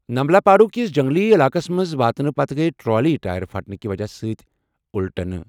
نمالاپاڈو کِس جنٛگلی علاقَس منٛز واتنہٕ پتہٕ گٔیہِ ٹرالی ٹائر پھٹنہٕ کہِ وجہہ سۭتۍ الٹنہٕ۔